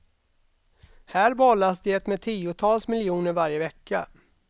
Här bollas det med tiotals miljoner varje vecka.